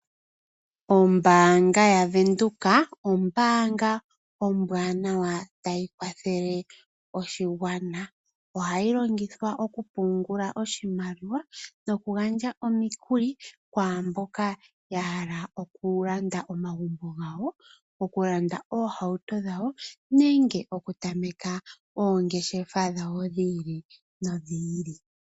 Ombaanga ya Venduka ombaanga ombwanawa tayi kwathele oshigwana. Ohayi longithwa okupungula oshimaliwa nokugandja omikuli kwaamboka ya hala okulanda omagumbo gawo, okulanda oohauto dhawo nenge okutameka oongeshefa dhawo dhi ili nodhi ili.